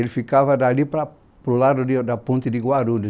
Ele ficava dali para para o lado da ponte de Guarulhos.